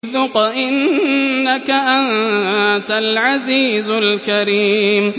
ذُقْ إِنَّكَ أَنتَ الْعَزِيزُ الْكَرِيمُ